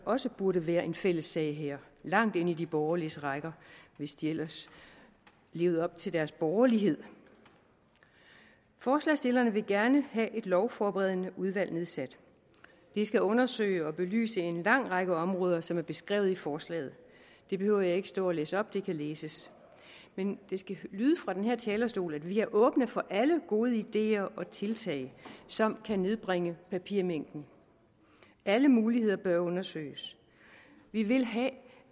også burde være en fælles sag her langt ind i de borgerliges rækker hvis de ellers levede op til deres borgerlighed forslagsstillerne vil gerne have et lovforberedende udvalg nedsat det skal undersøge og belyse en lang række områder som er beskrevet i forslaget det behøver jeg ikke at stå og læse op det kan læses men det skal lyde fra den her talerstol at vi er åbne for alle gode ideer og tiltag som kan nedbringe papirmængden alle muligheder bør undersøges vi vil have